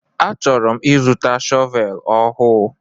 A chọrọ m ịzụta shọvel ọhụụ.